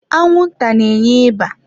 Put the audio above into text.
Anwụnta na-enye ịba.